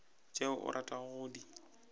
tšeo o ratago go di